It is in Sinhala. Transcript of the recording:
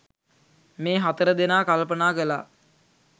මේ හතර දෙනා කල්පනා කළා.